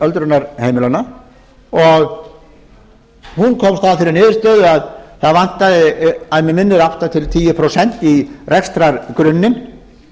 öldrunarheimilanna og hún komst að þeirri niðurstöðu að það vantaði að mig minnir átta til tíu prósent í rekstrargrunninn